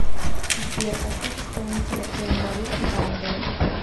сбер поставь исполнителя эмма рут рандл